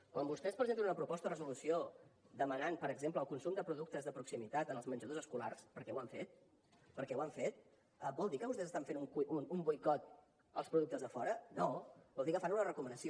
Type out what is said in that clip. quan vostès presenten una proposta de resolució per demanar per exemple el consum de productes de proximitat en els menjadors escolars perquè ho han fet perquè ho han fet vol dir que vostès estan fent un boicot als productes de fora no vol dir que fan una recomanació